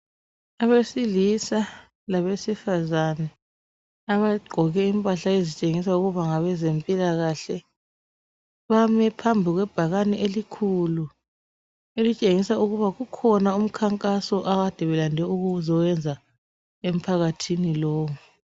Abesilisa labesifazane abagqoke impahla ezitshengisa ukuba ngabezempilakahle ,bame phambi kwe bhakane elikhulu elitshengisa ukuba kukhona umkhankaso abakade belande ukuzowenza emphakathini lowu.